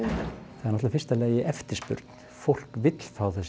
fyrsta lagi eftirspurn fólk vill fá þessi